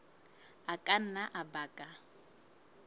a ka nna a baka